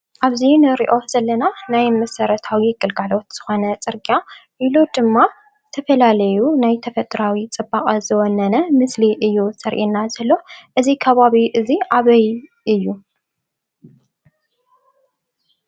ኣብዚ ንሪኦ ዘለና ናይ መሰረታዊ ግልጋሎት ዝኮነ ፅርጊያ ኢሉ ድማ ተፈላለዩ ናይ ተፈጥሮኣዊ ፅባቐ ዝወነነ ምስሊ እዩ ዘርኤና ዘሎ። እዚ ከባቢ እዚ ኣበይ እዩ?